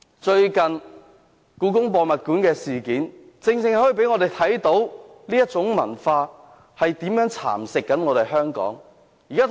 最近的故宮博物館事件，讓我們看到這種文化如何蠶食香港。